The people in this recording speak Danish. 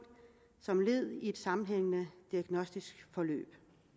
som led i et sammenhængende diagnostisk forløb